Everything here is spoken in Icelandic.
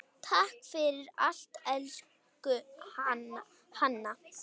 Takk fyrir allt, elsku Hanna.